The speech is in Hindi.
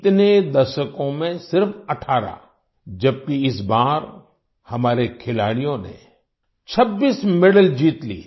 इतने दशकों में सिर्फ 18 जबकि इस बार हमारे खिलाड़ियों ने 26 मेडल जीत लिए